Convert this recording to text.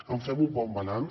en fem un bon balanç